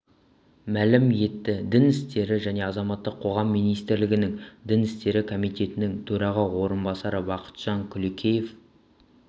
мәлім етті дін істері және азаматтық қоғам министрлігінің дін істері комитетінің төраға орынбасары бақытжан күлекеев